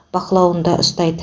бақылауында ұстайды